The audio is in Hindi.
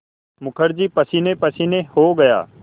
मुखर्जी पसीनेपसीने हो गया